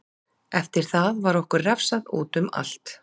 Eftir það var okkur refsað útum allt.